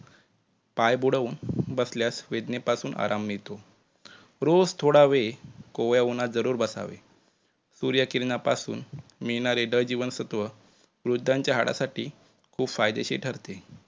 पाय बुडवून बसल्यास वेदनेपासून आराम मिळतो. रोज थोडा वेळ कोवळ्या उन्हात जरूर बसावे. सूर्यकिराणा पासून मिळणारे ड-जीवनसत्व वृद्धांच्या हाडांसाठी खूप फायदेशीर ठरते.